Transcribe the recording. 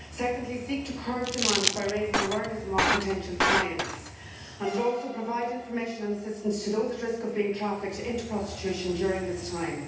secondly, seek to curb demand by raising awareness among potential clients and also provide information and assistance to those at risk of being trafficked into prostitution during this time.